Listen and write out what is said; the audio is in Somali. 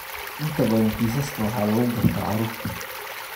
Inta badan kiisaska waxaa lagu gartaa carruurta.